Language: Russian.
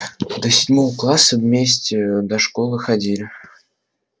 до седьмого класса вместе до школы ходили